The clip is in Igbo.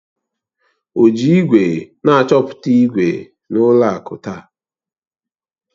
O ji igwe na-achọpụta ígwè na ụlọ akụ taa?